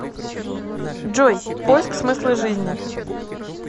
джой поиск смысла жизни